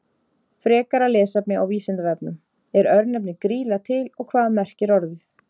Frekara lesefni á Vísindavefnum: Er örnefnið Grýla til og hvað merkir orðið?